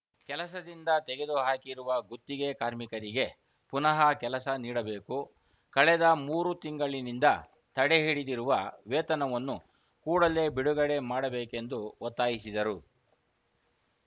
ಕೆಲಸದಿಂದ ತೆಗೆದುಹಾಕಿರುವ ಗುತ್ತಿಗೆ ಕಾರ್ಮಿಕರಿಗೆ ಪುನಃ ಕೆಲಸ ನೀಡಬೇಕು ಕಳೆದ ಮೂರು ತಿಂಗಳಿನಿಂದ ತಡೆಹಿಡಿದಿರುವ ವೇತನವನ್ನು ಕೂಡಲೇ ಬಿಡುಗಡೆ ಮಾಡಬೇಕೆಂದು ಒತ್ತಾಯಿಸಿದರು